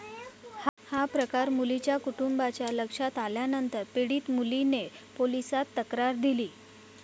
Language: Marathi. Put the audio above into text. हा प्रकार मुलीच्या कुटुंबाच्या लक्षात आल्यानंतर पीडित मुलीने पोलिसात तक्रार दिली.